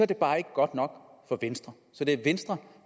det bare ikke godt nok for venstre så det er venstre